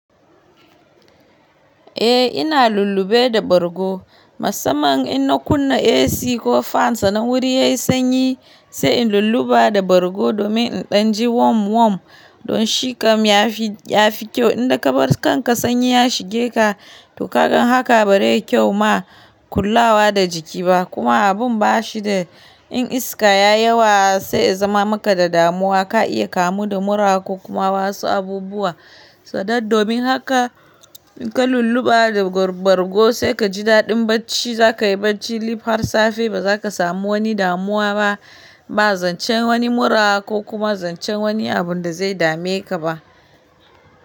Eh ina lullube da bargo. Masamman in na kunna AC ko fan sana wuri yayi sanyi sai in lullube da bargo domin in danji wom-wom. Don shikam ya fi kyau in da kabar kanka sanyi ya shige ka to kagan haka ba zai yi kyau ma kullawa da jiki ba kuma abun ba shi da in iska ya yawa sai ya zama maka da damuwa ka iya kamu da mura ko kuma wasu abubuwa. Sau dad domin haka ka lullube da bargo sai ka ji daɗin bacci za ka yi bacci lif har safe ba za ka samu wani damuwa ba, ba zancen wani mura ko kuma zancen wani abun da zai dame ka ba.